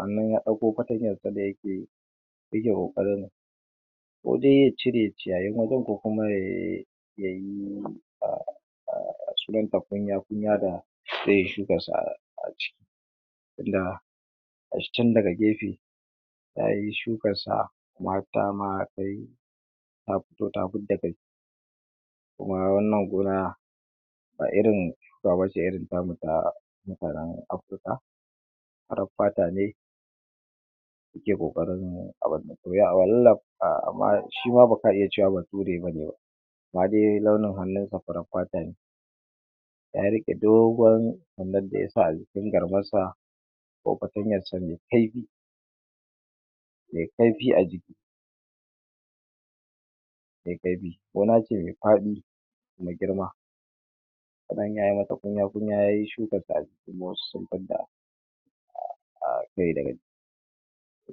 a nuno ya ɗauko fatanyan sa da yake yake kokarin ko de ya cire ciyayayin wajan ko kuma ya um um um kunya-kunya da de suka sa a ciki na ga shi can daga gefe yayi shukan sa mata ma dai ta fito ta fida kai kuma wannan gona ba irin irin tamu ta mutanen Africa farar fata ne suke kokarin abun um amma shima baka iya cewa bature bane ba na de ga launin hannunsa farin fata ne ya rike dogon abun dayasa a jikin garmar sa ko fatanyan ce me kaifi me kaifi a jiki me kaifi, gona ce me faɗi me girma sanya ya mata kunya-kunya yayi shukansa kuma wasu sun fida um kai daga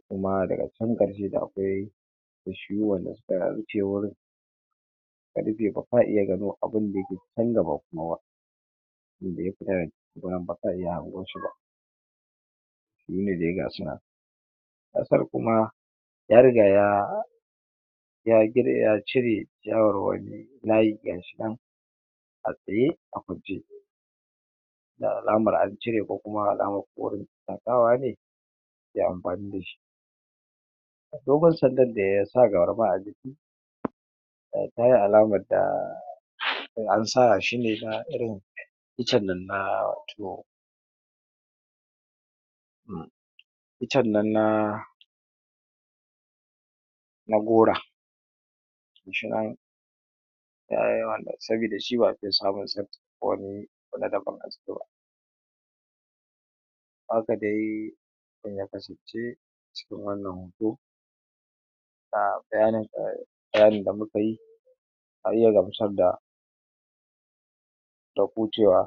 kuma daga can karshe da akwai bishiyu wanda suna rufewar ya gano abun daya ke can da ba kuma ba be hango shi ba sune de ga sunan kasar kuma ya riga ya ya riga ya cire shawarwari layi a tsaye a kwance da alamar an cire alamar ze amfani da shi nomar sandan ne yasa garma a jiki um tara alamar da ansa shi ne na irin itcen nan na tiyo itcen nan na na gora sabida shi ba'a siya sabon wani na daban a ciki ba haka de ya kasace a cikin wannan hoto na bayanin da, bayanin da muka yi da ku cewa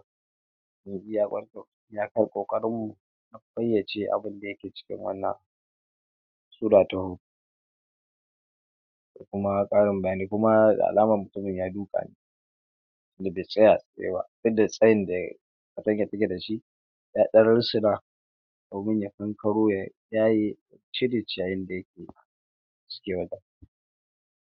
iya kar kokarin mu fayace abun da yake cikin wannan sura ta ho da kuma karin bayani kuma da alamar mutumin ya duka ne da be tsaya a tsaye ba duk da tsayin da yayi da shi ya ɗan rintsuna ya kankaro ya yaye cire ciyayin da